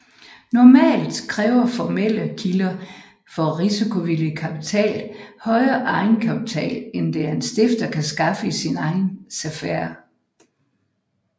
Normalt kræver formelle kilder for risikovillig kapital højere egenkapital end det en stifter kan skaffe i sin egen sfære